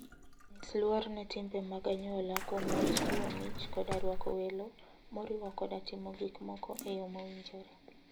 Nyis luor ne timbe mag anyuola kuom wach chiwo mich koda rwako welo, moriwo koda timo gik moko e yo mowinjore.